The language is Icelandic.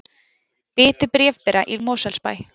Bitu bréfbera í Mosfellsbæ